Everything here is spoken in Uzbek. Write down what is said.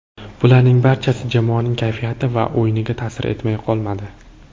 Bularning barchasi jamoaning kayfiyati va o‘yiniga ta’sir etmay qolmadi.